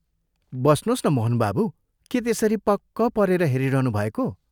बस्नोस् न मोहन बाबू के त्यसरी पक्क परेर हेरिरहनुभएको?